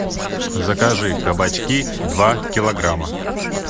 закажи кабачки два килограмма